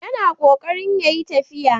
Yana ƙoƙarin ya yi tafiya.